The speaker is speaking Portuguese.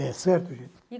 É certo, gente?